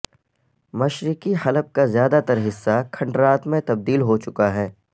مشرقی حلب کا زیادہ تر حصہ کھنڈرات میں تبدیل ہوچکا ہے